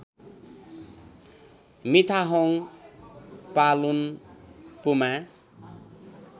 मिथाहोङ पालुन पुमा